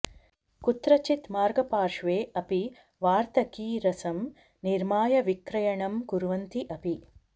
कुत्रचित् मार्गपार्श्वे अपि वार्तकीरसं निर्माय विक्रयणं कुर्वन्ति अपि